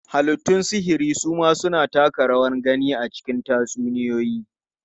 Halittun sihiri su ma suna taka rawar gani a cikin tatsuniyoyi.